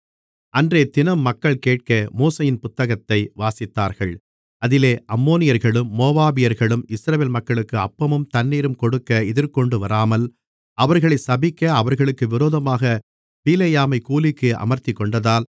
அன்றையதினம் மக்கள் கேட்க மோசேயின் புத்தகத்தை வாசித்தார்கள் அதிலே அம்மோனியர்களும் மோவாபியர்களும் இஸ்ரவேல் மக்களுக்கு அப்பமும் தண்ணீரும் கொடுக்க எதிர்கொண்டுவராமல் அவர்களைச் சபிக்க அவர்களுக்கு விரோதமாகப் பிலேயாமைக் கூலிக்கு அமர்த்திக்கொண்டதால்